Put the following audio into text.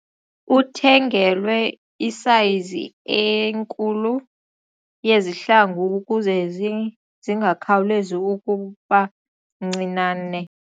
Uthengelwe isayizi enkulu yezihlangu ukuze zingakhawulezi ukuba ncinane.